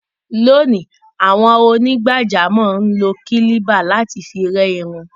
Lónìí, àwọn onígbàjámọ̀ ń lo kílíbà láti fi rẹ́ irun.